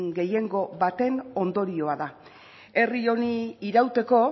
gehiengo baten ondorioa da herri honi irauteko